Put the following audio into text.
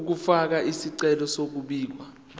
ukufaka isicelo sokubika